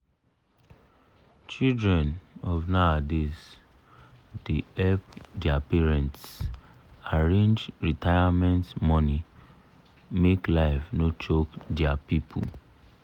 children of nowadays da help da help dia parents arrange retirement money make life no choke dia people